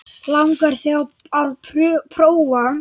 Langar þig til að prófa?